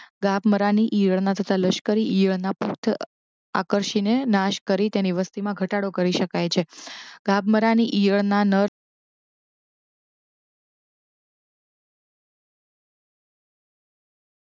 ગાભમારાની ઇયળના તથા લશ્કરી ઇયળના પૃથ આકર્ષીને નાશ કરી તેનો ઘટાડો કરી શકાય છે ગાભમારાની ઇયળના નર